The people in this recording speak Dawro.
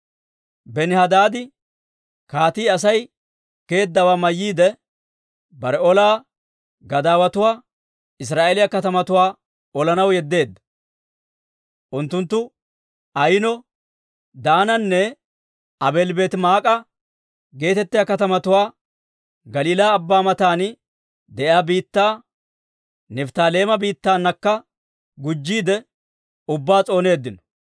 Benihadaadi Kaatii Aasi geeddawaa mayyiide, bare ola gadaawotuwaa Israa'eeliyaa katamatuwaa olanaw yeddeedda. Unttunttu Ayino, Daananne Aabeeli-Beetimaa'ika geetettiyaa katamatuwaa, Galiilaa Abbaa matan de'iyaa biittaa, Nifttaaleema biittaanakka gujjiide ubbaa s'ooneeddino.